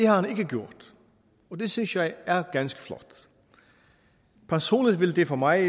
har han ikke gjort og det synes jeg er ganske flot personligt vil det for mig